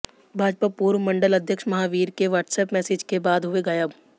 भाजपा पूर्व मंडल अध्यक्ष महावीर के वाट्सएप मैसेज के बाद हुए गायब